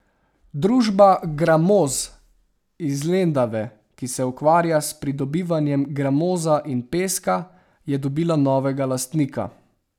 Družba Gramoz iz Lendave, ki se ukvarja s pridobivanjem gramoza in peska, je dobila novega lastnika.